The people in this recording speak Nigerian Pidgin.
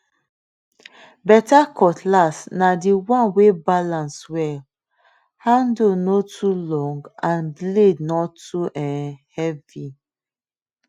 better cutlass na the one wey balance well handle no too long and blade no too um heavy